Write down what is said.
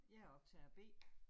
Jeg optager B